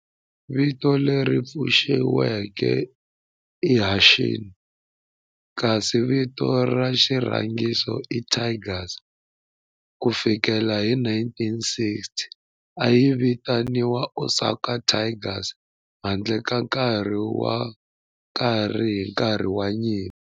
Vito leri pfuxetiweke i"Hanshin" kasi vito ra xirhangiso i"Tigers". Ku fikela hi 1960, a yi vitaniwa Osaka Tigers handle ka nkarhi wo karhi hi nkarhi wa nyimpi.